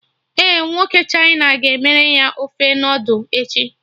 Ee, nwoke China ga-emere anyị ofe noodul echi